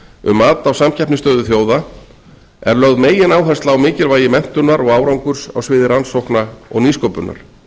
um mat á samkeppnisstöðu þjóða er lögð megináhersla á mikilvægi menntunar og árangur á sviði rannsókna og nýsköpunar